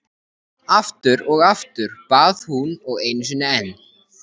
Aftur og aftur, bað hún og einu sinni enn.